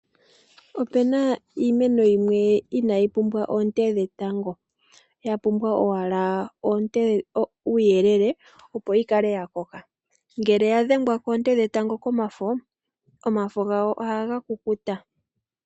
Opuna iimeno yimwe inaayi pumbwa oonte dhetango ya pumbwa owala uuyelele opo yi kale ya koka ngele ya dhengwa koonte dhetango omafo gayo ohaga kukuta.